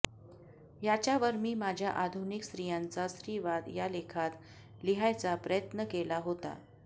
ह्याच्यावर मी माझ्या आधुनिक स्त्रियांचा स्त्रीवाद ह्या लेखात लिहायचा प्रयत्न केला होता